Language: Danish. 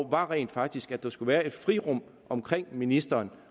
rent faktisk var at der skulle være et frirum omkring ministeren